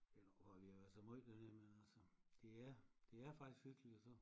Eller hvor vi har været så vi har været så møj dernede men det er faktisk hyggeligt og så